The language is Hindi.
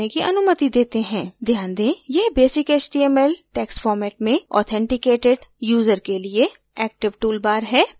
ध्यान दें यह basic html text format में authenticated user के लिए active toolbar है